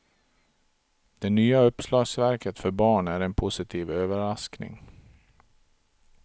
Det nya uppslagsverket för barn är en positiv överraskning.